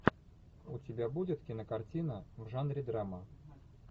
у тебя будет кинокартина в жанре драма